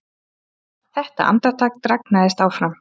Þetta andartak dragnaðist áfram.